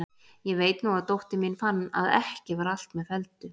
Ég veit nú að dóttir mín fann að ekki var allt með felldu.